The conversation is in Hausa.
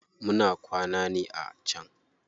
Muna kwana ne a can.